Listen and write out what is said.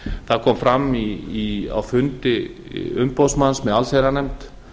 það kom fram á fundi umboðsmanns með allsherjarnefnd